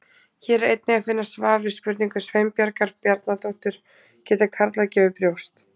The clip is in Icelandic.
Hér er einnig að finna svar við spurningu Sveinbjargar Bjarnadóttur: Geta karlar gefið brjóst?